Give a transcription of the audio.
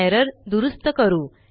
error दुरूस्त करू